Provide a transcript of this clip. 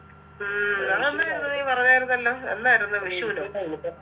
ഉം അത് അന്ന് നീ പറഞ്ഞയിരുന്നല്ലോ എന്നായിരുന്നു വിഷുനോ